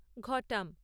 ঘটাম